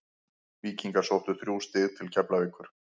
Víkingar sóttu þrjú stig til Keflavíkur.